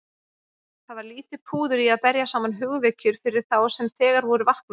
Það var lítið púður í að berja saman hugvekjur fyrir þá sem þegar voru vaknaðir.